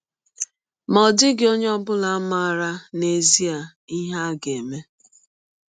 Ma ọ dịghị onye ọ bụla maara n’ezie ihe a ga - eme.